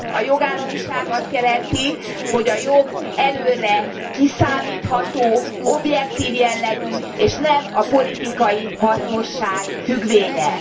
A jogállamiság azt jelenti, hogy a jog előre kiszámítható, objektív jellegű és nem a politikai hasznosság függvénye.